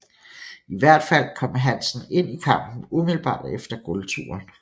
I hvert fald kom Hansen ind i kampen umiddelbart efter gulvturen